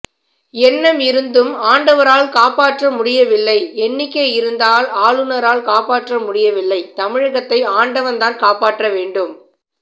எண்ணம் இருந்தும் ஆண்டவரால் காப்பாற்ற முடியவில்லை எண்ணிக்கை இருந்ததால் ஆளுநரால் காப்பாற்றமுடியவில்லைதமிழகத்தை ஆண்டவன் தான் காப்பாற்ற வேண்டும்